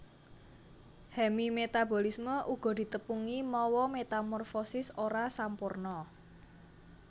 Hemimetabolisme uga ditepungi mawa metamorfosis ora sampurna